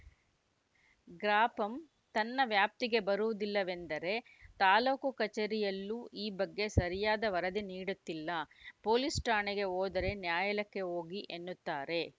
ಗ್ರಾಪಂ ತನ್ನ ವ್ಯಾಪ್ತಿಗೆ ಬರುವುದಿಲ್ಲವೆಂದರೆ ತಾಲೂಕು ಕಚೇರಿಯಲ್ಲೂ ಈ ಬಗ್ಗೆ ಸರಿಯಾದ ವರದಿ ನೀಡುತ್ತಿಲ್ಲ ಪೊಲೀಸ್‌ ಠಾಣೆಗೆ ಹೋದರೆ ನ್ಯಾಯಾಲಯಕ್ಕೆ ಹೋಗಿ ಎನ್ನುತ್ತಾರೆ